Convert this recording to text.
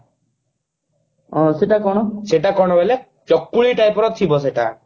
ହାଁ ସେଟା କଣ ସେଟା କଣ ବୋଇଲେ ଚକୁଳି type ର ଥିବା ସେଇଟା